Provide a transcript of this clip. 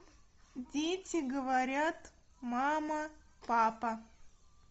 дети говорят мама папа